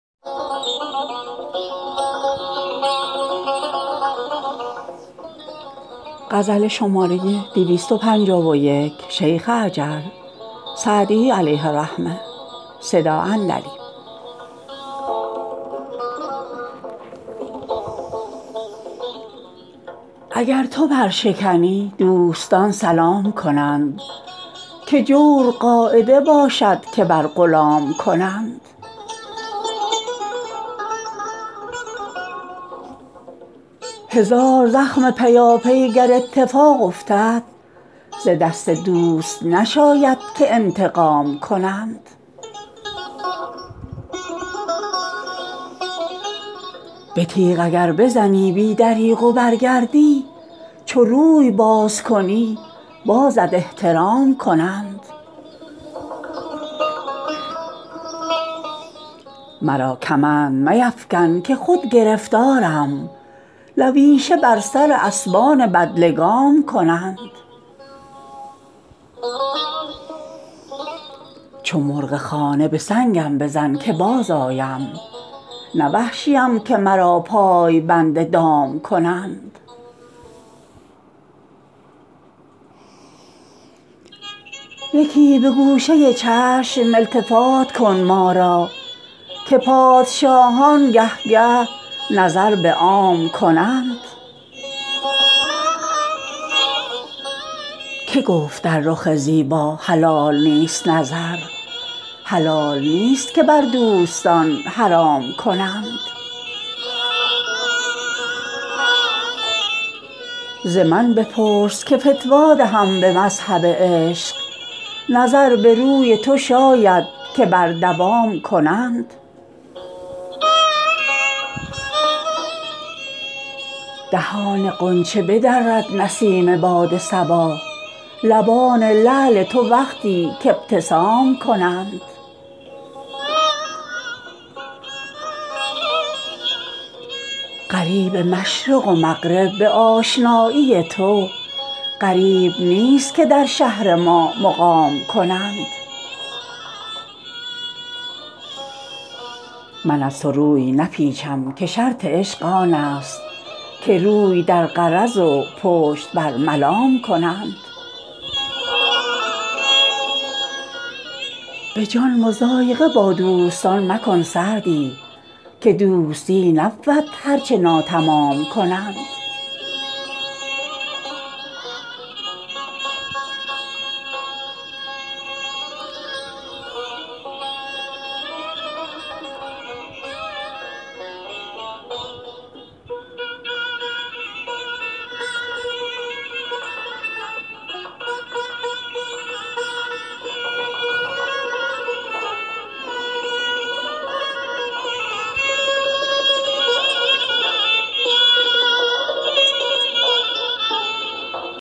اگر تو برشکنی دوستان سلام کنند که جور قاعده باشد که بر غلام کنند هزار زخم پیاپی گر اتفاق افتد ز دست دوست نشاید که انتقام کنند به تیغ اگر بزنی بی دریغ و برگردی چو روی باز کنی بازت احترام کنند مرا کمند میفکن که خود گرفتارم لویشه بر سر اسبان بدلگام کنند چو مرغ خانه به سنگم بزن که بازآیم نه وحشیم که مرا پای بند دام کنند یکی به گوشه چشم التفات کن ما را که پادشاهان گه گه نظر به عام کنند که گفت در رخ زیبا حلال نیست نظر حلال نیست که بر دوستان حرام کنند ز من بپرس که فتوی دهم به مذهب عشق نظر به روی تو شاید که بر دوام کنند دهان غنچه بدرد نسیم باد صبا لبان لعل تو وقتی که ابتسام کنند غریب مشرق و مغرب به آشنایی تو غریب نیست که در شهر ما مقام کنند من از تو روی نپیچم که شرط عشق آن است که روی در غرض و پشت بر ملام کنند به جان مضایقه با دوستان مکن سعدی که دوستی نبود هر چه ناتمام کنند